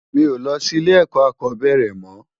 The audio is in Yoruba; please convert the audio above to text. Mi ó lò si ilé èkò ákòbèrè mò